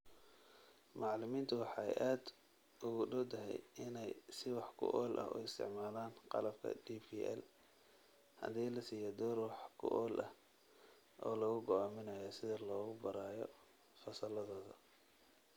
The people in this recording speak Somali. Macallimiintu waxay aad ugu dhowdahay inay si wax ku ool ah u isticmaalaan qalabka DPL haddii la siiyo door wax ku ool ah oo lagu go'aaminayo sida loogu baro fasalladooda.